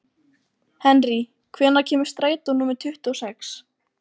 Henrý, hvenær kemur strætó númer tuttugu og sex?